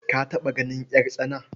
Ka taɓa ganin ƴartsana?